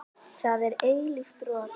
Það er eilíft rok.